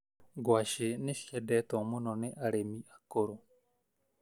Ngwacĩ nĩciendetwo mũno ni arĩmi akũrũ.